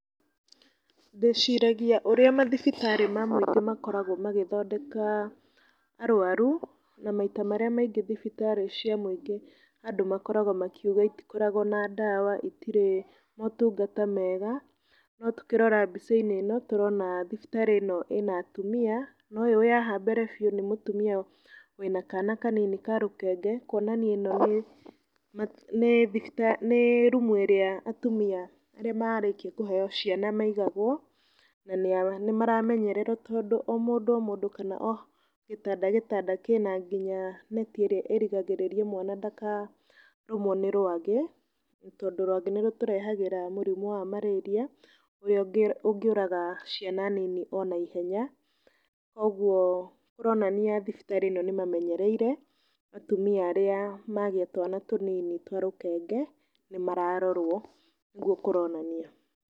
Ndĩciragia ũrĩa mathibitarĩ ma mũingĩ makoragwo magĩthondeka arũaru. Na maita marĩa maingĩ thibitarĩ cia muingĩ andũ makoragwo makiuga itikoragwo na ndawa, itirĩ motungata mega. No tũkĩrora mbicainĩ ĩno tũrona thibitarĩ ĩno ĩna atumia. Na ũyũ wĩ haha mbere biu nĩ mũtumia wĩna kana kanini ka rũkenge, kuonania ĩno nĩ rumu ĩrĩa atumia arĩa marĩkia kũheo ciana maigagwo. Na nĩ maramenyererwo tondũ o mũndũ o mũndũ kana o gĩtanda gĩtanda kĩna nginya neti ĩrĩa ĩrigagĩrĩria mwana ndakarũmwo nĩ rũagĩ. Tondũ rũagĩ nĩ rũtũrehagĩra mũrimũ wa marĩria, ũrĩa ũngiũraga ciana nini o naihenya. Kũoguo kũronania thibitari ĩno nĩmamenyereire atumia arĩa magĩa twana tũnini twa rũkenge, nĩ mararorwo nĩgũo kũronania.